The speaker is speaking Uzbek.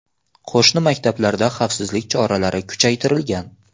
Qo‘shni maktablarda xavfsizlik choralari kuchaytirilgan.